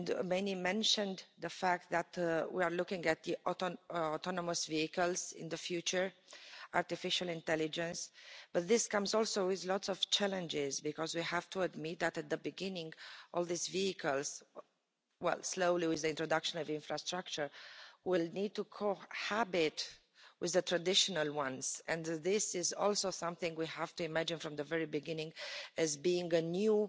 Many mentioned the fact that we are looking at autonomous vehicles in the future, artificial intelligence but this comes also with lots of challenges because we have to admit that at the beginning, all these vehicles, well slowly with the introduction of the infrastructure, will need to co habit with the traditional ones. And this is also something we have to imagine from the very beginning as being a new